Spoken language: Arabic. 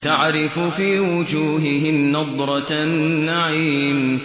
تَعْرِفُ فِي وُجُوهِهِمْ نَضْرَةَ النَّعِيمِ